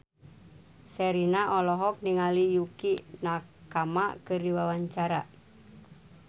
Sherina olohok ningali Yukie Nakama keur diwawancara